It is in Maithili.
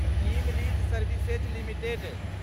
team Lease Services limited